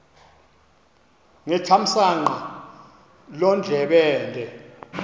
ngethamsanqa loo ndlebende